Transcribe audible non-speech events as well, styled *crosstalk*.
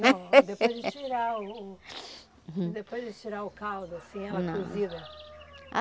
*laughs* Não, depois de tirar o... Depois de tirar o caldo, assim, ela cozida.